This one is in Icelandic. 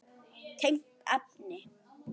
Tengt efni